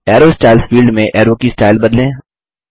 अरो styles field में arrow की style बदलें